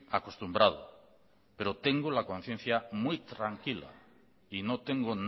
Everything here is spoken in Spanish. acostumbrado pero tengo la conciencia muy tranquila y no tengo